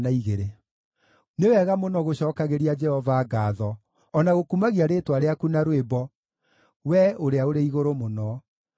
Nĩ wega mũno gũcookagĩria Jehova ngaatho o na gũkumagia rĩĩtwa rĩaku na rwĩmbo, Wee Ũrĩa-ũrĩ-Igũrũ-Mũno,